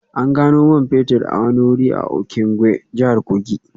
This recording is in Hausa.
An gano man fetur a wani wuri a Okengwe, jihar Kogi